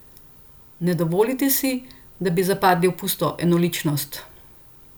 Ne dovolite si, da bi zapadli v pusto enoličnost.